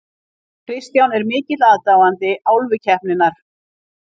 Kristján er mikill aðdáandi Álfukeppninnar.